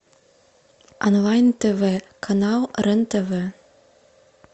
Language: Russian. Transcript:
онлайн тв канал рен тв